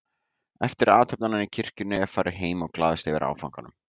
Eftir athöfnina í kirkjunni var farið heim og glaðst yfir áfanganum.